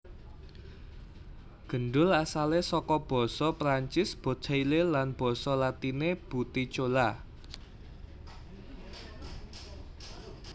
Gendul asalé saka basa Prancis boteille lan basa latiné butticula